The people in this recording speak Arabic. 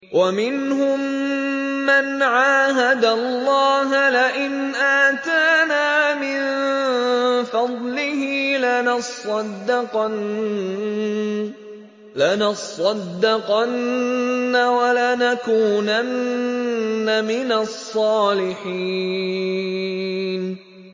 ۞ وَمِنْهُم مَّنْ عَاهَدَ اللَّهَ لَئِنْ آتَانَا مِن فَضْلِهِ لَنَصَّدَّقَنَّ وَلَنَكُونَنَّ مِنَ الصَّالِحِينَ